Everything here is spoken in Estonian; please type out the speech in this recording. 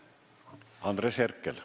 Andres Herkel.